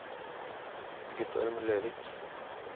Guttorm Løvik